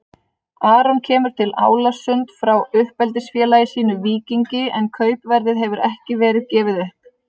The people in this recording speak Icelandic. Aron kemur til Álasund frá uppeldisfélagi sínu Víkingi en kaupverðið hefur ekki verið gefið upp.